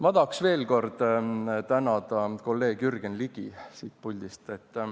Ma tahaks veel kord siit puldist tänada kolleeg Jürgen Ligi.